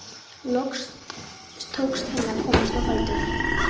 Loks tókst henni að komast á fætur.